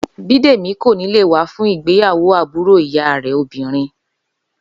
Bídèmí kò ní lè wa fún ìgbéyàwó àbúrò ìyá rè obìnrin